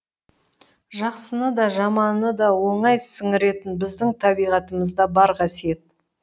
жақсыны да жаманды да оңай сіңіретін біздің табиғатымызда бар қасиет